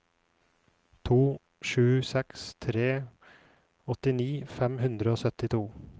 to sju seks tre åttini fem hundre og syttito